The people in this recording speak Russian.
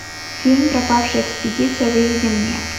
фильм пропавшая экспедиция выведи мне